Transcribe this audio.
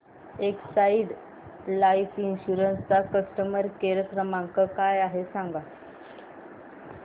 Exide life insurance चा customer care क्रमांक काय आहे मला सांगा